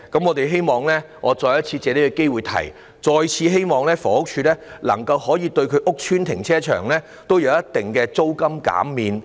我藉此機會再次提出，我們希望房署能夠在其旗下的屋邨停車場提供一定的租金減免。